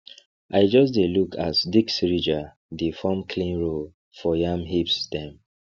i just dey look as disc ridger dey form clean row for yam hips dem